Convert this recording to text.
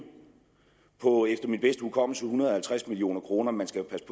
på efter min bedste hukommelse en hundrede og halvtreds million kroner man skal jo passe